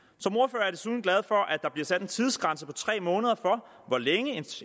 som glad for at der bliver sat en tidsgrænse på tre måneder for hvor længe